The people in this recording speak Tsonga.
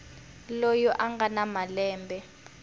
loyi a nga na malembe